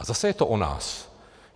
A zase je to o nás.